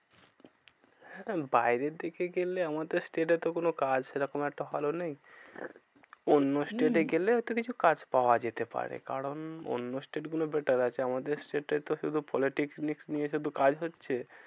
হ্যাঁ বাইরের দিকে গেলে আমাদের state এ তো কোনো কাজ সেরকম আর তো ভালো নেই। অন্য state এ গেলে হম একটা কিছু কাজ পাওয়া যেতে পারে। কারণ অন্য state গুলো better আছে। আমাদের state এ শুধু politics নিয়ে শুধু কাজ হচ্ছে।